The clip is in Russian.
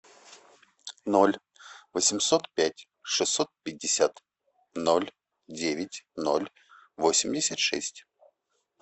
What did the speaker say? ноль восемьсот пять шестьсот пятьдесят ноль девять ноль восемьдесят шесть